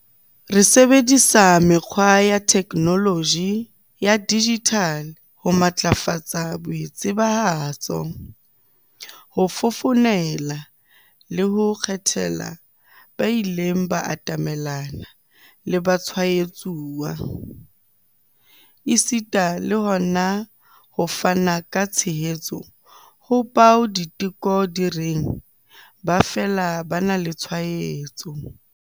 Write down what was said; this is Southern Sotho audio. Re sebedisa mekgwa ya theknoloji ya dijithale ho matlafatsa boitsebahatso, ho fofonela le ho kgethela ba ileng ba atamelana le batshwaetsuwa, esita le hona ho fana ka tshehetso ho bao diteko di reng ba fela ba na le tshwaetso.